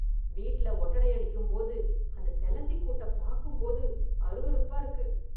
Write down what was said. வீட்ல ஒட்டடை அடிக்கும் போது அந்த செலந்திக் கூட்ட பாக்கும்போது அருவறுப்பா இருக்கு